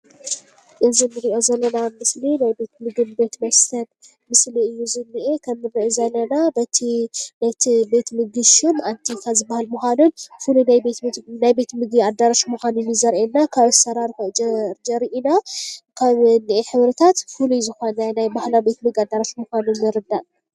እዚ ንሪኦ ዘለና ምስሊ ናይ ቤት ምግቢን ቤት መስተን ምስሊ እዩ ዝኒአ፡፡ ከምንሪኦ ዘለና በቲ እቲ ቤት ምግቢ ሹም አንቲካ ዝበሃል ምኳኑን ፍሉይ ናይ ቤት ምግቢ አዳራሽ ምኳኑ እዩ ዘርእየና፡፡ ካብ አሰራርሑ ዘሪአናን ካብ ዝኒሀ ሕብሪታት ፍሉይ ዝኮነ ናይ ባህላዊ ምግቢ አዳራሽ ምኳኑ ንርዳእ፡፡